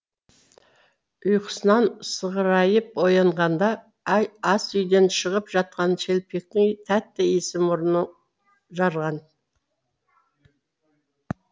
ұйқысынан сығырайып оянғанда асүйден шығып жатқан шелпектің тәтті иісі мұрынын жарған